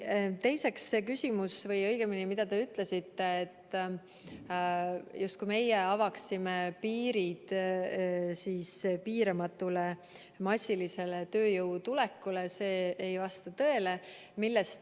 Teiseks, see küsimus või õigemini see, mida te ütlesite, justkui meie avaksime piirid piiramatule massilisele tööjõu tulekule, see ei vasta tõele.